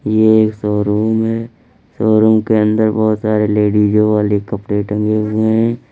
यह एक शोरूम है शोरूम के अंदर बहुत सारे लेडिस वाले कपड़े टंगे हुए हैं।